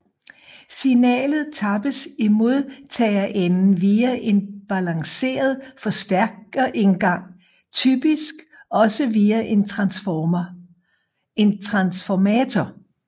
Signalet tappes i modtagerenden via en balanceret forstærkerindgang typisk også via en transformator